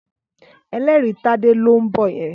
Ẹlẹ́rìí Tádé ló ń bọ̀ yẹn.